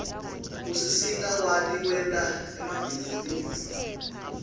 usisita sikwati kwenta emabhizinisi